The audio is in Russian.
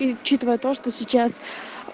и учитывая то что сейчас